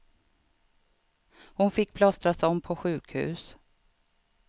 Hon fick plåstras om på sjukhus.